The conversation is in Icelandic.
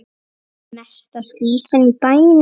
Mesta skvísan í bænum.